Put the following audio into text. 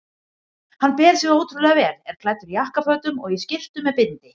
Hann ber sig ótrúlega vel, er klæddur jakkafötum og í skyrtu með bindi.